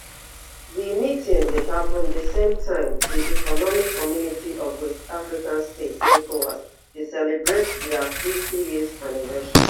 di meeting dey happun di same time di economic community of west african states ecowas dey celebrate dia fifty years anniversary